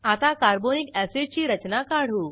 आता carbonic acid ची रचना काढू